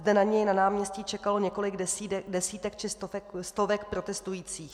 Zde na něj na náměstí čekalo několik desítek či stovek protestujících.